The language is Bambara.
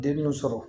Den y'o sɔrɔ